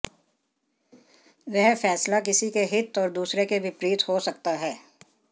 वह फैसला किसी के हित और दूसरे के विपरीत हो सकता है